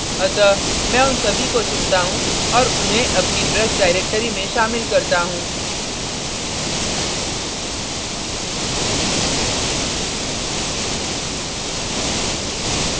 अतः मैं उन सभी को चुनता हूँ और उन्हें अपनी ब्रश directory में शामिल करता हूँ